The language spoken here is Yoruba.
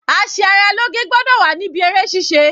A ṣe ara lóge gbọ́dọ̀ wà níbí eré ṣíṣe.